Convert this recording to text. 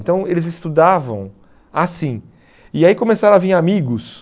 Então eles estudavam assim e aí começaram a vir amigos,